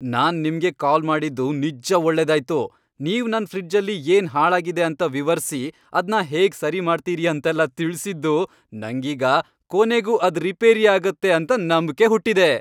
ನಾನ್ ನಿಮ್ಗೆ ಕಾಲ್ ಮಾಡಿದ್ದು ನಿಜ್ಜ ಒಳ್ಳೆದಾಯ್ತು, ನೀವ್ ನನ್ ಫ್ರಿಡ್ಜಲ್ಲಿ ಏನ್ ಹಾಳಾಗಿದೆ ಅಂತ ವಿವರ್ಸಿ ಅದ್ನ ಹೇಗ್ ಸರಿ ಮಾಡ್ತೀರಿ ಅಂತೆಲ್ಲ ತಿಳ್ಸಿದ್ದು ನಂಗೀಗ ಕೊನೆಗೂ ಅದ್ ರಿಪೇರಿ ಆಗತ್ತೆ ಅಂತ ನಂಬ್ಕೆ ಹುಟ್ಟಿದೆ.